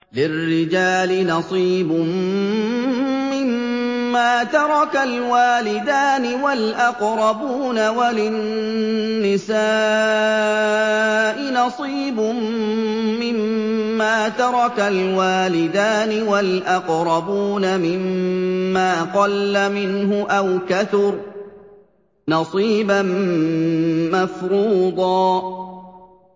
لِّلرِّجَالِ نَصِيبٌ مِّمَّا تَرَكَ الْوَالِدَانِ وَالْأَقْرَبُونَ وَلِلنِّسَاءِ نَصِيبٌ مِّمَّا تَرَكَ الْوَالِدَانِ وَالْأَقْرَبُونَ مِمَّا قَلَّ مِنْهُ أَوْ كَثُرَ ۚ نَصِيبًا مَّفْرُوضًا